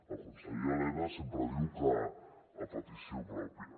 el conseller elena sempre diu que a petició pròpia